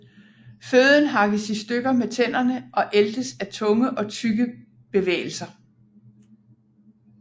Føden hakkes i stykker med tænderne og æltes af tunge og tyggebevægelser